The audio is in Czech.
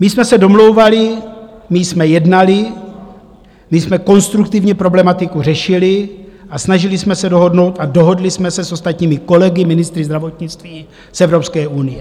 My jsme se domlouvali, my jsme jednali, my jsme konstruktivně problematiku řešili a snažili jsme se dohodnout a dohodli jsme se s ostatními kolegy ministry zdravotnictví z Evropské unie.